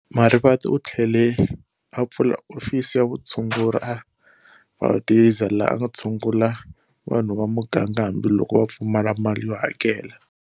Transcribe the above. Marivate u thlele a pfula ofisi ya vutshunguri a Valdezia laha a a thsungula vanhu va muganga hambi loko vapfumala mali yo hakela.